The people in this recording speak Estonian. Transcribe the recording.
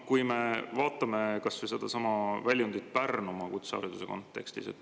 Vaatame kas või sedasama väljundit Pärnumaa kutsehariduse kontekstis.